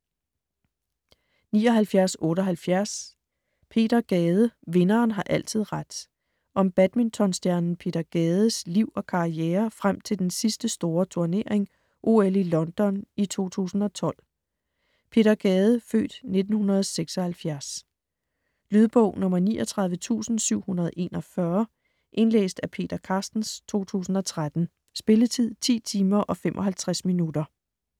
79.78 Peter Gade: vinderen har altid ret - Om badmintonstjernen Peter Gades (f. 1976) liv og karriere frem til den sidste store turnering - OL i London 2012. Lydbog 39741 Indlæst af Peter Carstens, 2013. Spilletid: 10 timer, 55 minutter.